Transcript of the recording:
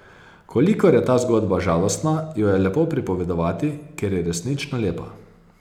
Kolikor je ta zgodba žalostna, jo je lepo pripovedovati, ker je resnično lepa.